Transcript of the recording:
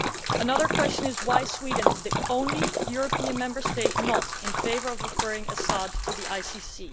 Another question is, why is Sweden the only EU Member State not in favour of referring Assad to the ICC?